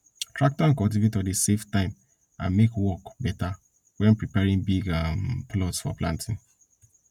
tractor and cultivator dey save time and make work better when preparing big um plots for planting